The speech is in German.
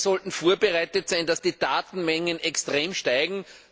Wir sollten darauf vorbereitet sein, dass die Datenmengen extrem steigen.